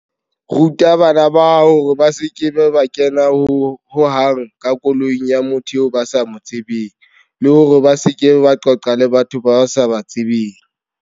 Ruta bana ba hao hore ba se ke ba kena ho hang ka koloing ya motho eo ba sa mo tsebeng, le hore ba se ke ba qoqa le batho bao ba sa ba tsebeng.